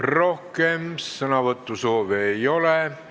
Rohkem sõnavõtusoove ei ole.